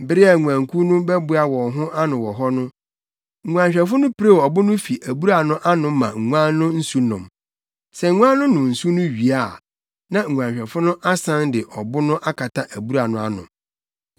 Bere biara a nguankuw no bɛboa wɔn ho ano wɔ hɔ no, nguanhwɛfo no pirew ɔbo no fi abura no ano ma nguan no nsu nom. Sɛ nguan no nom nsu no wie a, na nguanhwɛfo no asan de ɔbo no akata abura no ano.